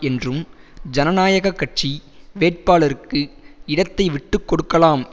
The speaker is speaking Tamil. என்றும் ஜனநாயக கட்சி வேட்பாளருக்கு இடத்தை விட்டு கொடுக்கலாம்